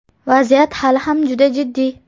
Vaziyat hali ham juda jiddiy.